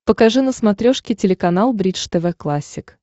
покажи на смотрешке телеканал бридж тв классик